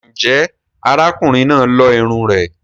Ǹjẹ́ ará kùnrin náà lo irunn rẹ̀?